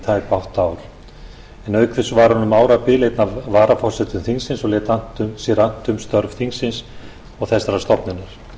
tæp átta ár auk þess var hún um árabil einn af varaforsetum þingsins og lét sér annt um störf þess og þessarar stofnunar